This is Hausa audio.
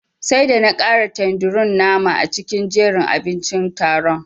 Sai da na kara tanderun nama a cikin jerin abincin taron.